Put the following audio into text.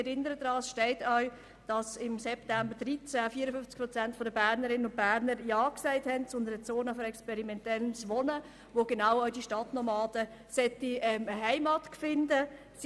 Ich erinnere daran, es steht auch geschrieben, dass im September 2013 54 Prozent der Bernerinnen und Berner ja zu einer «Zone für experimentelle Wohnformen» gesagt haben, in der auch die Stadtnomaden eine Heimat finden sollen.